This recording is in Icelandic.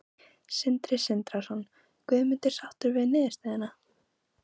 Sindri Sindrason: Guðmundur, sáttur við niðurstöðuna?